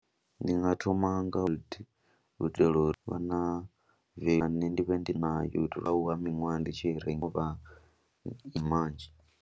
Ndi nga thoma nga u itela uri vha na u itela na nṋe ndi vhe ndi nayo, itelwa u lwa miṅwaha ndi tshi renga u vha ndi manzhi.